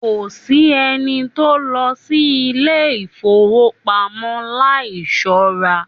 Kòsí ẹni tó lọ sí ilé ifowopamọ láì ṣọra.